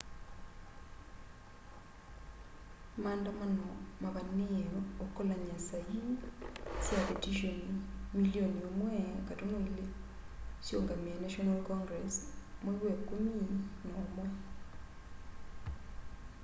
maandamano mavaniie ukolany'a sa ii sya vetishoni milioni 1.2 siungamie national congress mwei wa ikumi na umwe